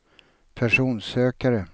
personsökare